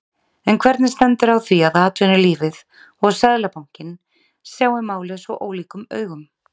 En hvernig stendur á því að atvinnulífið og Seðlabankinn sjái málið svo ólíkum augum?